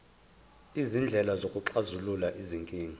izindlela zokuxazulula izinkinga